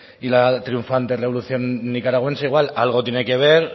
y la triunfante revolución nicaragüense igual algo tiene que ver